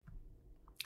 DR1